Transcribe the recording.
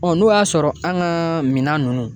n'o y'a sɔrɔ an ka minan ninnu